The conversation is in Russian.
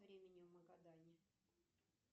времени в магадане